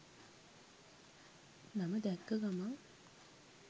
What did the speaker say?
නම දැක්ක ගමන්